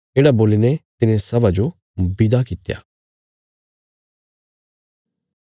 येढ़ा बोलीने तिने सभा जो विदा कित्या